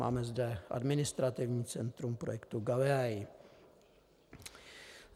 Máme zde administrativní centrum projektu Galileo.